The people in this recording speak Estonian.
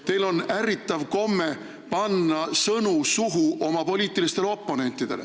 Teil on ärritav komme panna sõnu suhu oma poliitilistele oponentidele.